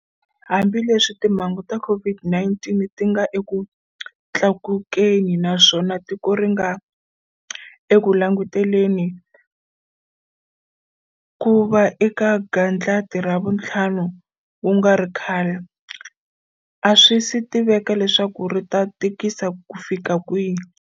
Hambileswi timhangu ta COVID-19 ti nga eku tlakukeni naswona tiko ri nga eku languteleni ku va eka gandlati ra vuntlhanu ku nga ri khale, a swi si tiveka leswaku ri ta tikisa kufika kwihi.